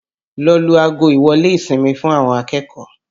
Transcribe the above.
Lọ lu ago ìwọ́lé ìsinmi fún àwọn akẹ́kọ̀ọ́!